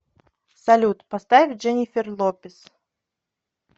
салют поставь дженнифер лопез